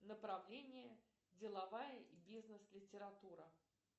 направление деловая и бизнес литература